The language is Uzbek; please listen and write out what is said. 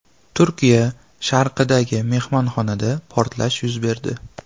Turkiya sharqidagi mehmonxonada portlash yuz berdi.